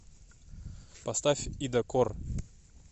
поставь ида корр